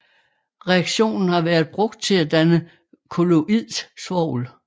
Reaktionen har været brugt til at danne kolloidt svolv